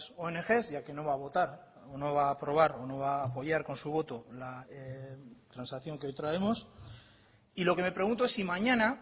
ong ya que no va a votar o no va a aprobar o no va a apoyar con su voto la transacción que hoy traemos y lo que me pregunto es si mañana